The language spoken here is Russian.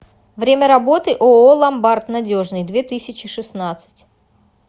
время работы ооо ломбард надежный две тысячи шестнадцать